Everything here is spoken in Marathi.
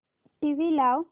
टीव्ही लाव